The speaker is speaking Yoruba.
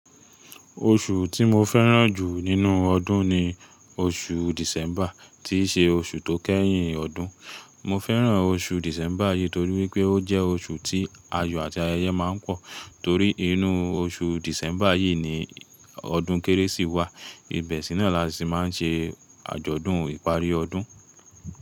Oṣù tí mo fẹ́ràn jù nínú ọdún ni oṣù December tí ṣe oṣù tó kẹ́yìn ọdún. Mo fẹ́ràn oṣù December yìí torí wípé ó jẹ́ oṣù tí ayọ̀ àti ayẹyẹ máa ń pọ̀ torí inú oṣù December yìí ni ọdún kérésì wà, ibẹ̀ sì náà la ti máa ń ṣe àjọ̀dún ìparí ọdún.